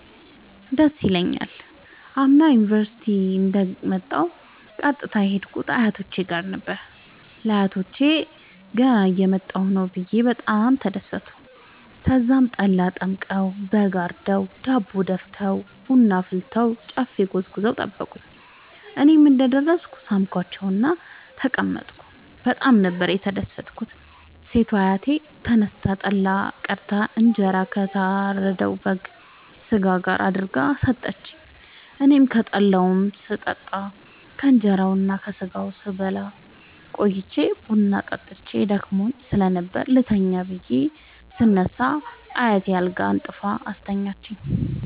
ደስ ይለኛል። አምና ዩኒቨርሢቲ እንደ ወጣሁ ቀጥታ የሄድኩት አያቶቼ ጋር ነበር። ለአያቶቸ ገና እየመጣሁ ነዉ ብየ በጣም ተደሠቱ። ተዛም ጠላ ጠምቀዉ በግ አርደዉ ዳቦ ደፍተዉ ቡና አፍልተዉ ጨፌ ጎዝጉዘዉ ጠበቁኝ። እኔም እንደ ደረስኩ ሣምኳቸዉእና ተቀመጥኩ በጣም ነበር የተደትኩት ሴቷ አያቴ ተነስታ ጠላ ቀድታ እንጀራ ከታረደዉ የበግ ስጋ ጋር አድርጋ ሠጠችኝ። አኔም ከጠላዉም ስጠጣ ከእንራዉና ከስጋዉም ስበላ ቆይቼ ቡና ጠጥቼ ደክሞኝ ስለነበር ልተኛ ብየ ስነሳ አያቴ አልጋ አንጥፋ አስተኛችኝ።